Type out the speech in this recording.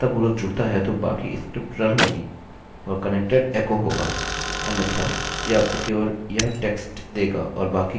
अच्छा अब यदि यह सफलतापूर्वक जुड़ता है तो बाकी स्क्रिप्ट रन होगी और connected एको होगा अन्यथा यह आपको केवल यह टेक्स्ट देगा और बाकी का पेज रन नहीं करेगा